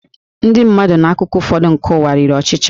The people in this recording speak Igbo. Ndị mmadụ n'akụkụ ụfọdụ nke ụwa riri ọchịcha